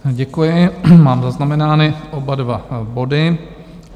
Děkuji, mám zaznamenány oba dva body.